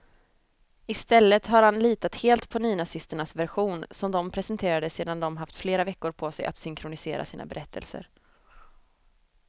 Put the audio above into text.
I stället har han litat helt på nynazisternas version, som de presenterade sedan de haft flera veckor på sig att synkronisera sina berättelser.